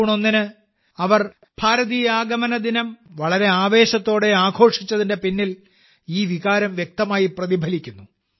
June ഒന്നിന് അവർ ഭാരതീയ ആഗമന ദിനം വളരെ ആവേശത്തോടെ ആഘോഷിച്ചതിന്റെ പിന്നിൽ ഈ വികാരം വ്യക്തമായി പ്രതിഫലിക്കുന്നു